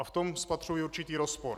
A v tom spatřuji určitý rozpor.